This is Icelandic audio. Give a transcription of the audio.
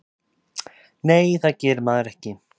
Nei, það gerir maður ekki.